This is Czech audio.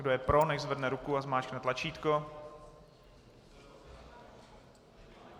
Kdo je pro, nechť zvedne ruku a zmáčkne tlačítko.